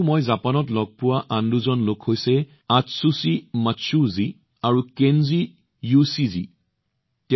এইবোৰৰ বাহিৰেও মই জাপানত লগ পোৱা আন দুজন লোক হৈছে আতচুচি মাৎসুও জী আৰু কেঞ্জি য়োশিজী